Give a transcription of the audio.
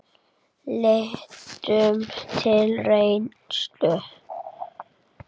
Lítum til reynslu Dana.